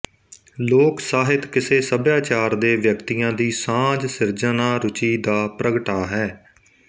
ਲੋਕ ਸਾਹਿਤ ਕਿਸੇ ਸੱਭਿਆਚਾਰ ਦੇ ਵਿਅਕਤੀਆਂ ਦੀ ਸਾਂਝ ਸਿਰਜਨਾਰੁਚੀ ਦਾ ਪ੍ਰਗਟਾ ਹੈ